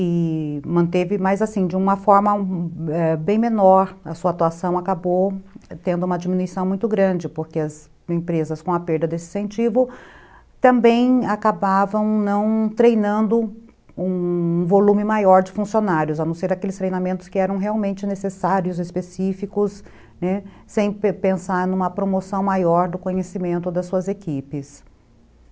e manteve, mas assim, de uma forma ãh bem menor, a sua atuação acabou tendo uma diminuição muito grande, porque as empresas com a perda desse incentivo também acabavam não treinando um volume maior de funcionários, a não ser aqueles treinamentos que eram realmente necessários, específicos, né, sem pensar numa promoção maior do conhecimento das suas equipes.